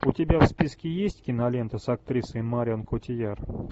у тебя в списке есть кинолента с актрисой марион котийяр